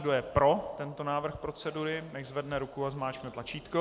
Kdo je pro tento návrh procedury, nechť zvedne ruku a zmáčkne tlačítko.